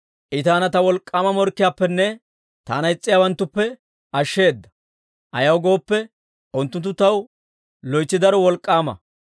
I taana ta wolk'k'aama morkkiyaappenne taana is's'iyaawanttuppe ashsheeda; ayaw gooppe, unttunttu taw loytsi daro wolk'k'aama.